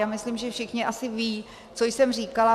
Já myslím, že všichni asi vědí, co jsem říkala.